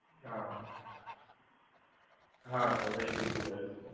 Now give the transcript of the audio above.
હા, સર એ પૂછી લેજો સર.